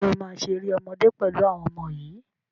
Ǹjẹ́ o máa ṣe eré ọmọdé pẹ̀lú àwọn ọmọ yìí